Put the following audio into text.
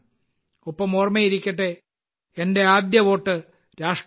ഒപ്പം ഓർമ്മയിരിക്കട്ടെ എന്റെ ആദ്യ വോട്ട് രാഷ്ട്രത്തിനായി